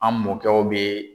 An mɔkɛw bɛ